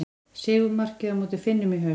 Sigurmarkið á móti Finnum í haust.